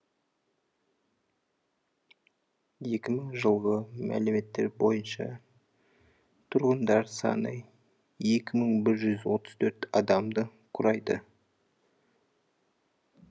екі мың жылғы мәліметтер бойынша тұрғындар саны екі мың бір жүз отыз төрт адамды құрайды